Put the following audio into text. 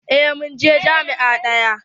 Eh mun je jami'a ɗaya.